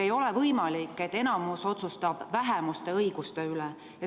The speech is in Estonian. Ei ole võimalik, et enamus otsustab vähemuste õiguste üle.